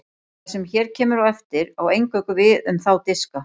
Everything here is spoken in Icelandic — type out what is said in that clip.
Það sem hér kemur á eftir á eingöngu við um þá diska.